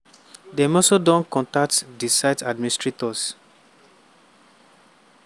dem also don contact di site administrators.